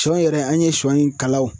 Sɔ yɛrɛ an ye sɔ in kalaw